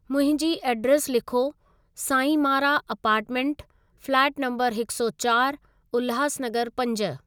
मुंहिंजी एड्रेस लिखो साईंमारा अपार्टमेन्ट, फ्लेट नम्बर हिक सौ चारि, उल्हास नगर पंज।